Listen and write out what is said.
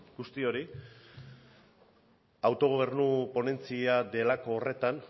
guzti hori autogobernu ponentzia delako horretan